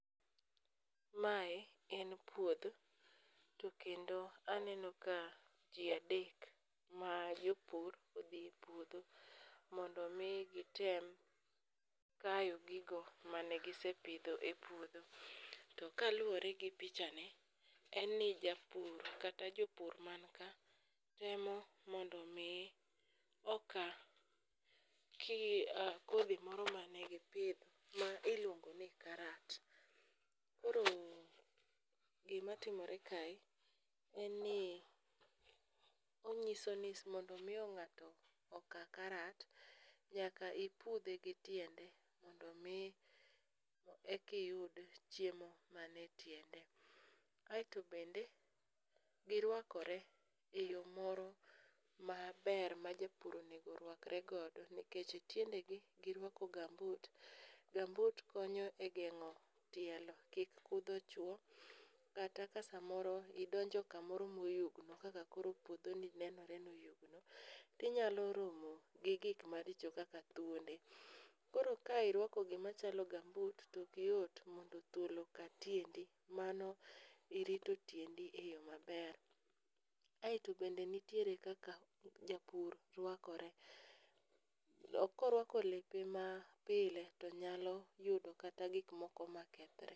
Mae en puodho to kendo aneno ka ji adek ma jopur odhi e puodho mondo omi gitem kayo gigo mane gisepidho e puodho. To kaluwore gi pichani en ni japur kata jopur man ka temo mondo omi oka kodhi m oro mane gipidho ma iluongo ni karat, koro gimatimore kae en ni ong'iso ni mondo omiyo ng'ato oka karat, nyaka ipudhe gi tiende mondo omi ekiyud chiemo mane tiende. Aeto bende girwakore e yo moro maber ma japur onego rwakregodo nikech e tiendegi girwako gambut, gambut konyo e geng'o tielo kik kudho chwo kata ka samoro idonjo kamoro moyugno kaka koro puodhoni nenore noyugno tinyalo romo gi gik maricho kaka thuonde. Koro ka irwako gimachalo gambut tokyot mondo thuol oka tiendi mano irito tiendi e yo maber. Aeto bende nitiere kaka japur rwakore, korwako lepe mapile to nyalo yudo kata gikmoko makethre.